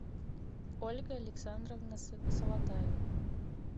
ольга александровна салатаева